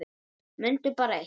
Mundu bara eitt.